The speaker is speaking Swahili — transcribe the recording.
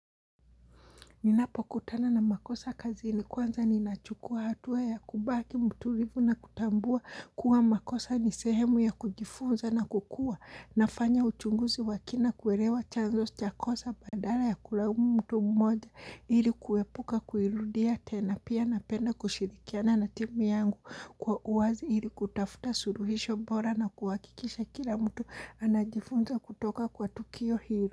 Ninapokutana na makosa kazini kwanza ninachukua hatua ya kubaki mturivu na kutambua kuwa makosa ni sehemu ya kujifunza na kukua. Nafanya uchunguzi wa kina kuerewa chanzo cha kosa badala ya kulaumu mtu mmoja ili kuepuka kuirudia tena pia napenda kushirikiana na timu yangu kwa uwazi ili kutafuta suruhisho bora na kuhakikisha kila mtu anajifunza kutoka kwa tukio hiri.